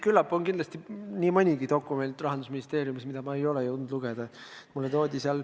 Küllap on Rahandusministeeriumis nii mõnigi dokument, mida ma ei ole lugeda jõudnud.